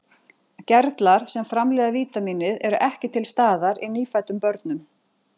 Gerlar sem framleiða vítamínið eru ekki til staðar í nýfæddum börnum.